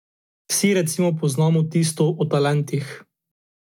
Vsi recimo poznamo tisto o talentih.